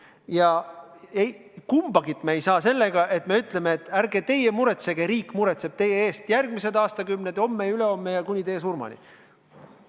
Ja kumbagi me ei saa sellega, et me ütleme, et ärge teie muretsege, riik muretseb teie eest järgmised aastakümned – homme, ülehomme ja kuni teie surmani.